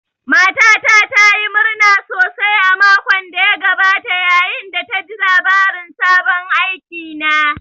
Matata ta yi murna sosai a makon da ya gabata, yayin da ta ji labarin sabon aikina